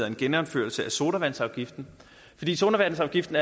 af genindførelse af sodavandsafgiften sodavandsafgiften